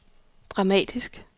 dramatisk